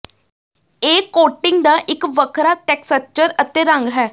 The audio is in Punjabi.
ਇਹ ਕੋਟਿੰਗ ਦਾ ਇੱਕ ਵੱਖਰਾ ਟੈਕਸਟਚਰ ਅਤੇ ਰੰਗ ਹੈ